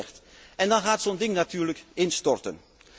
heeft hij gezegd en dan gaat zo'n ding natuurlijk instorten.